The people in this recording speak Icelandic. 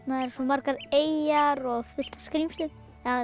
eru svo margar eyjar og fullt af skrímslum eða